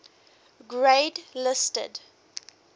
grade listed